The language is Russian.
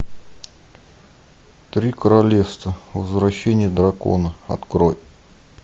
три королевства возвращение дракона открой